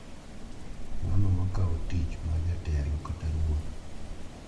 Ng’ano ma kawo tich mar jatelo kata ruoth.